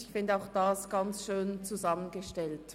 ich finde auch, dies sei sehr schön zusammengestellt.